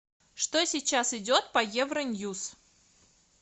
что сейчас идет по евроньюс